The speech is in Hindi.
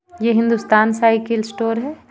ये हिंदुस्तान साइकिल स्टोर है.